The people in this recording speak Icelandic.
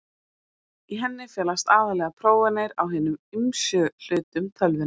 Í henni felast aðallega prófanir á hinum ýmsu hlutum tölvunnar.